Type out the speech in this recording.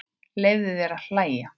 Leyfðu þér að hlæja.